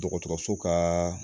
Dɔgɔtɔrɔso ka